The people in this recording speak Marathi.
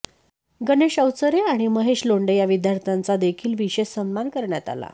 गणेश अवचरे आणि महेश लोंढे या विद्यार्थ्यांचा देखील विशेष सन्मान करण्यात आला